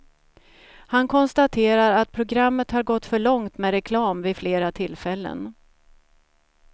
Han konstaterar att programmet har gått för långt med reklam vid flera tillfällen.